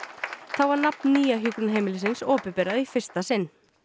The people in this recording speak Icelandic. þá var nafn nýja hjúkrunarheimilisins opinberað í fyrsta sinn